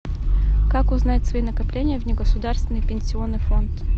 как узнать свои накопления в негосударственный пенсионный фонд